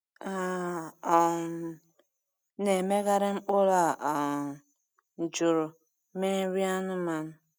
A um na-emegharị mkpụrụ a um jụrụ mee nri anụmanụ.